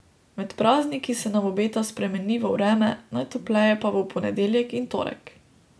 Med prazniki se nam obeta spremenljivo vreme, najtopleje pa bo v ponedeljek in torek.